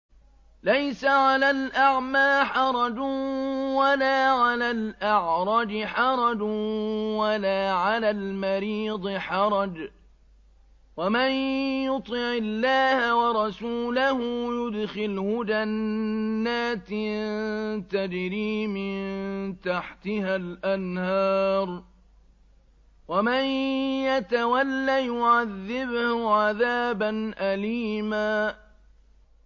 لَّيْسَ عَلَى الْأَعْمَىٰ حَرَجٌ وَلَا عَلَى الْأَعْرَجِ حَرَجٌ وَلَا عَلَى الْمَرِيضِ حَرَجٌ ۗ وَمَن يُطِعِ اللَّهَ وَرَسُولَهُ يُدْخِلْهُ جَنَّاتٍ تَجْرِي مِن تَحْتِهَا الْأَنْهَارُ ۖ وَمَن يَتَوَلَّ يُعَذِّبْهُ عَذَابًا أَلِيمًا